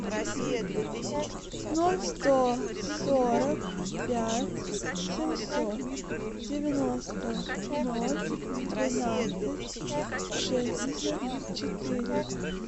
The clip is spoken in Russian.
ноль сто сорок пять семьсот девяносто ноль двенадцать шестьдесят четыре